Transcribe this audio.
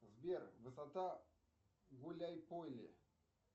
сбер высота гуляй поле